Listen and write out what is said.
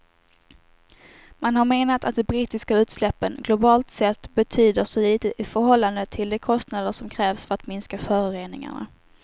Man har menat att de brittiska utsläppen globalt sett betyder så litet i förhållande till de kostnader som krävs för att minska föroreningarna.